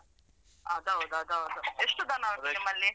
ಅದ್ ಹೌದು ಅದ್ ಹೌದು ಎಷ್ಟು ದನ ಉಂಟು ನಿಮ್ಮಲ್ಲಿ.